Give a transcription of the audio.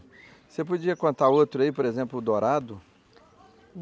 Você podia contar outro aí, por exemplo, o dourado?